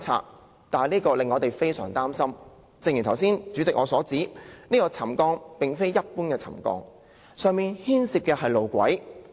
主席，這做法令我們非常擔心，正如我剛才所說，是次沉降事件並非一般的沉降，它牽涉上面的路軌。